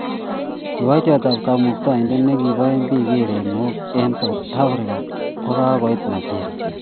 Kiboitiotab kamuktoindet ne kibae biik erenok eng South Africa ko kakoit Nigeria